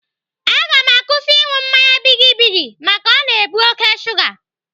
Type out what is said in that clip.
Aga m akwụsị ịṅụ mmanya bigi bigi maka o na-ebu oké shuga.